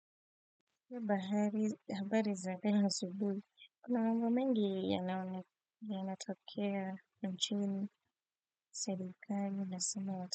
Kwa bahari, habari za leo asubuhi, kuna mambo mengi yanatokea, nchini, serikali inasema watu.